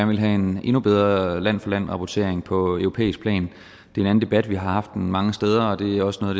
vil have en endnu bedre land for land rapportering på europæisk plan det er en debat vi har haft mange steder og det er også noget